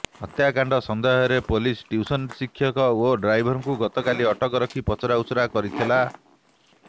ହତ୍ୟାକାଣ୍ଡ ସନ୍ଦେହରେ police tuition ଶିକ୍ଷକ ଓ ଡ୍ରାଇଭର୍ଙ୍କୁ ଗତକାଲି ଅଟକ ରଖି ପଚରାଉଚରା କରିଥିଲା